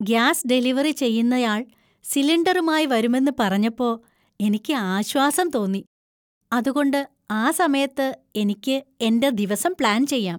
Gas delivery ചെയ്യുന്നയാൾ സിലിണ്ടറുമായി വരുമെന്ന് പറഞ്ഞപ്പോ എനിക്ക് ആശ്വാസം തോന്നി, അതുകൊണ്ട് ആ സമയത്ത് എനിക്ക് എന്‍റെ ദിവസം പ്ലാൻ ചെയ്യാം.